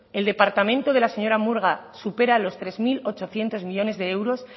el departamento de la señora murga supera los tres mil ochocientos millónes de euros